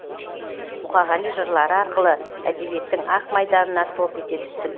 мұқағали жырлары арқылы әдебиеттің ақ майданына топ ете түстім